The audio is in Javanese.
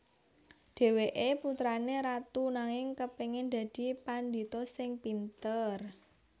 Dhèwèké putrané ratu nanging kepéngin dadi pandhita sing pinter